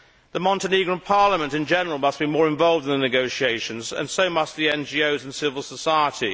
The Montenegrin Parliament in general must be more involved in the negotiations, as must the NGOs and civil society.